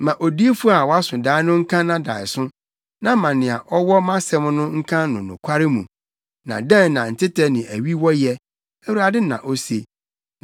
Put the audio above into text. Ma odiyifo a waso dae no nka nʼadaeso, na ma nea ɔwɔ mʼasɛm no nka no nokware mu. Na dɛn na ntɛtɛ ne awi wɔ yɛ?” Awurade na ose.